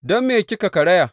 Don me kika karaya?